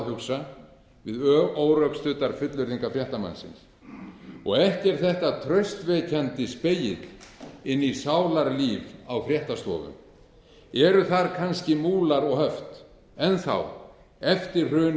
hugsa við órökstuddar fullyrðingar fréttamannsins ekki er þetta traustvekjandi spegill inn í sálarlíf á fréttastofu eru þar kannski múlar og höft enn þá eftir